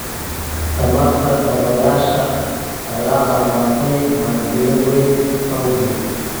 Tamarta dabaysha ayaa horumartay maalgalin weyn awgeed.